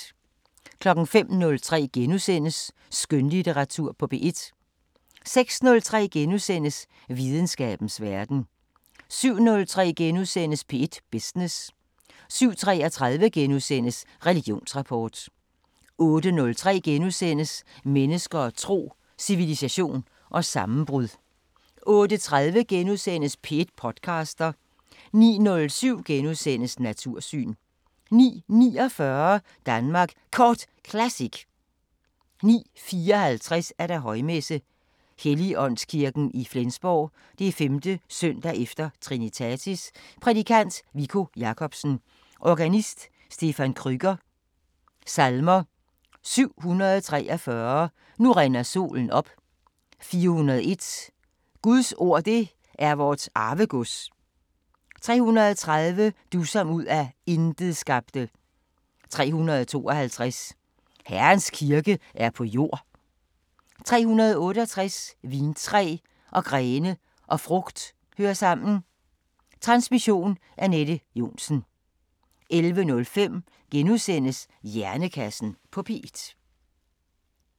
05:03: Skønlitteratur på P1 * 06:03: Videnskabens Verden * 07:03: P1 Business * 07:33: Religionsrapport * 08:03: Mennesker og tro: Civilisation og sammenbrud * 08:30: P1 podcaster * 09:07: Natursyn * 09:49: Danmark Kort Classic 09:54: Højmesse - Helligåndskirken i Flensborg. 5.s.e. Trinitatis Prædikant: Viggo Jacobsen. Organist: Stephan Krueger. Salmer: 743: Nu rinder solen op 401: Guds ord det er vort arvegods 330: Du som ud af intet skabte 352: Herrens kirke er på jord 368: Vintræ og grene og frugt hører sammen Transmission: Anette Johnsen. 11:05: Hjernekassen på P1 *